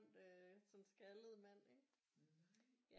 Øh sådan en skaldet mand ikke ja